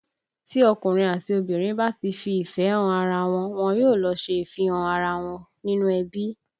Tí ọkùnrin àti obìnrin bá ti fi ìfẹ́ han ara wọn, wọn yóò lọ ṣe ìfihàn ara wọn nínú ẹbí